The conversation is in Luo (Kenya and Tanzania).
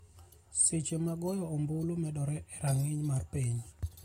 seche ma goyo ombulu medore e rang'iny mar piny